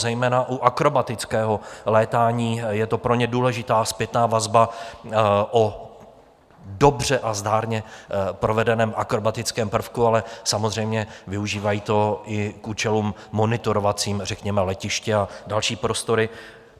Zejména u akrobatického létání je to pro ně důležitá zpětná vazba o dobře a zdárně provedeném akrobatickém prvku, ale samozřejmě využívají to i k účelům monitorovacím, řekněme letiště a další prostory.